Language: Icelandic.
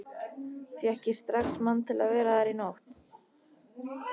Fékk ég strax mann til að vera þar í nótt.